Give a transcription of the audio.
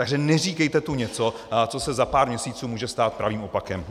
Takže neříkejte tu něco, co se za pár měsíců může stát pravým opakem!